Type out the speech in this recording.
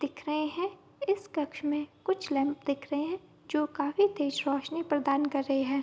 दिख रहे है इस कक्ष में कुछ लैंप दिख रहे है जो काफी तेज रोशनी प्रदान कर रही है।